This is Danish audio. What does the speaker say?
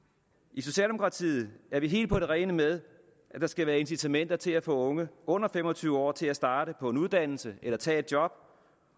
i socialdemokratiet er vi helt på det rene med at der skal være incitamenter til at få unge under fem og tyve år til at starte på en uddannelse eller tage et job